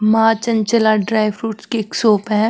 माँ चंचला ड्रायफ्रूट्स की एक शॉप है।